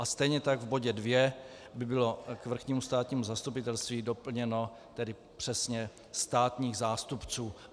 A stejně tak v bodě II by bylo k Vrchnímu státnímu zastupitelství doplněno tedy přesně - státních zástupců.